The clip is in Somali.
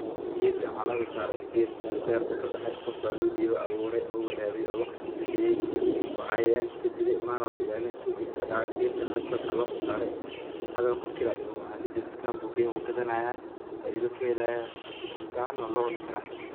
Geedkan waxa laga soo sare meel ayaa lagu abuure hadana wuu gadani haaya cunta ahaan waa loo cuni karaa.